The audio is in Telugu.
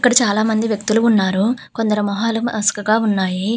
ఇక్కడ చాలా మంది వ్యక్తులు ఉన్నారు. కొందరి మొహాలు మసకగా ఉన్నాయి.